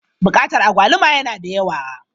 Bukatar agwaluma yana da yawa.